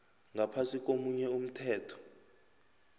ngaphasi komunye umthetho